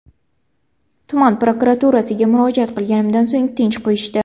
Tuman prokuraturasiga murojaat qilganimdan so‘ng tinch qo‘yishdi.